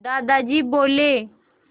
दादाजी बोले